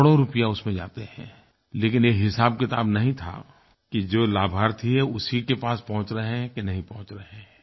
करोड़ों रुपये उसमें जाते हैं लेकिन ये हिसाबकिताब नहीं था कि जो लाभार्थी है उसी के पास पहुँच रहे हैं कि नहीं पहुँच रहे हैं